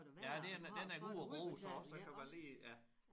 Ja det er den er god at bruge så også så kan man lige ja